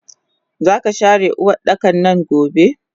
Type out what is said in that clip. Zaka share Uwardakannan gobe!